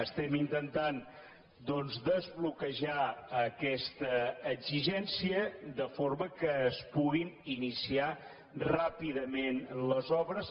estem intentant doncs desbloquejar aquesta exigència de forma que es puguin iniciar ràpidament les obres